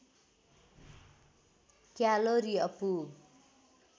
calorie अपुग